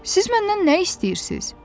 Siz məndən nə istəyirsiz?